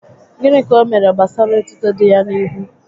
Gịnị ka o mere gbasara etuto dị ya n'ihu?